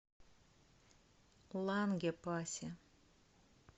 лангепасе